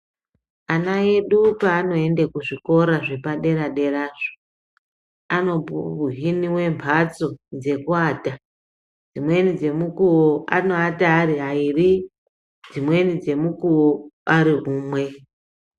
Ana edu paanoenda kuzvikora zvepadera derazvo anohiniwe mbatso dzekuwata dzimweni dzemukuwo anoata ari airi dzimweni dzemukuwo ari umwe.